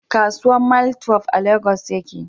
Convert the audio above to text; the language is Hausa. Kasuwan maitwef a Legas ya ke